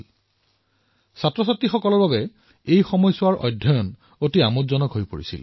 ইয়াৰ দ্বাৰা শিক্ষাৰ্থীসকলৰ পঢ়াও আনন্দৰ বিষয় হৈ পৰিল